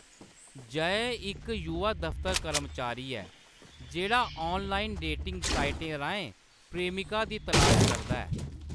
जय इक युवा दफतर कर्मचारी ऐ जेह्‌‌ड़ा ऑनलाइन डेटिंग साइटें राहें प्रेमिका दी तलाश करदा ऐ।